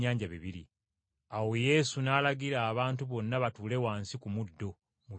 Awo Yesu n’alagira abantu bonna batuule wansi ku muddo mu bibinja.